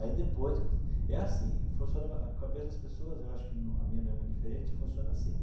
Aí depois, é assim, funciona a cabeça das pessoas, eu acho que a minha não é muito diferente, funciona assim.